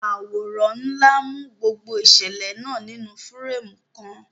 Àwòrán ńlá mú gbogbo ìṣẹ̀lẹ̀ náà nínú fírémù kan.